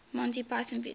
monty python videos